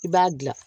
I b'a dilan